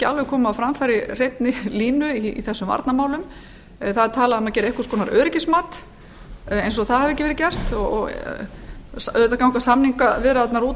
alveg komið á framfæri hreinni línu í þessum varnarmálum það er talað um að gera einhvers konar öryggismat eins og það hafi ekki verið gert auðvitað ganga samningaviðræðurnar út